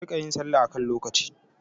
Ki riƙa yin salla a kan lokaci!